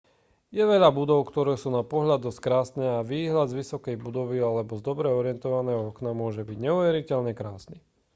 je veľa budov ktoré sú na pohľad dosť krásne a výhľad z vysokej budovy alebo z dobre orientovaného okna môže byť neuveriteľne krásny